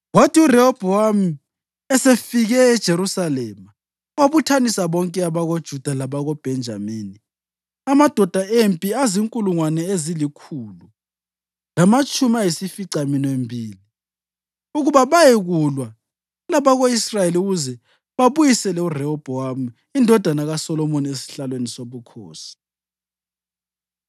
Kwathi uRehobhowami esefike eJerusalema wabuthanisa bonke abakoJuda labakoBhenjamini, amadoda empi azinkulungwane ezilikhulu lamatshumi ayisificaminwembili ukuba bayekulwa labako-Israyeli ukuze babuyisele uRehobhowami indodana kaSolomoni esihlalweni sobukhosi.